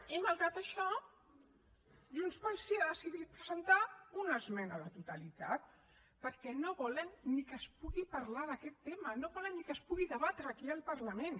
i malgrat això junts pel sí ha decidit presentar una esmena a la totalitat perquè no volen ni que es pugui parlar d’aquest tema no volen ni que es pugui debatre aquí al parlament